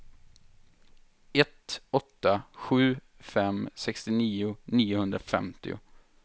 ett åtta sju fem sextionio niohundrafemtio